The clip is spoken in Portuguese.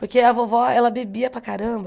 Porque a vovó, ela bebia para caramba,